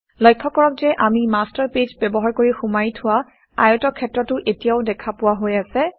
লক্ষ্য কৰক যে আমি মাষ্টাৰ পেজ ব্যৱহাৰ কৰি সুমুৱাই থোৱা আয়তক্ষেত্ৰটো এতিয়াও দেখা পোৱা হৈ আছে